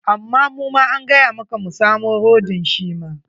Amma muma an gaya maka mu samo rodin shi ma.